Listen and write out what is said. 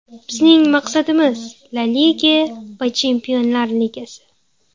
Bizning maqsadimiz – La Liga va Chempionlar Ligasi.